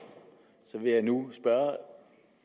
vil jeg nu